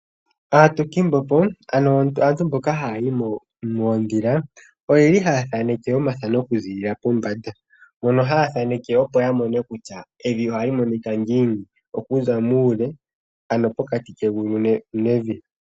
Aatukimbepo ano aantu mboka hayayi moodhila, oyeli haya thaneke omathano oku ziilila pombanda mono haya thaneke opo yamone kutya evi ohali monikwa ngiini okuza muule, ano pokati kegulu nevi.